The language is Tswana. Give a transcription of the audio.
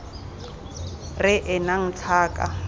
r e e nnang tlhaka